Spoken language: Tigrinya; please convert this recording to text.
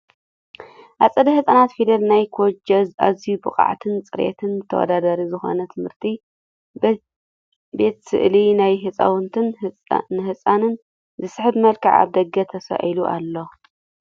ኣፀደ ህፃናት ፊደል ናይ ኬጆ ኣዝዩ ብብቅዓትን ፅሬትን ተወዳዳሪ ዝኮነ ትምህርት ቤት ስእሊ ናይ ህፃውንትን ንህፃን ዝስሕብ መልክዑ ኣብ ደገ ተሳኢሉ ኣሎ።